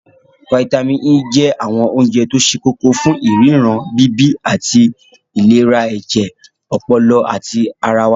Fítàmì E je awon ounje to se koko fun iriran, bibi. ati ati ilera eje, opolo, ati ara wa.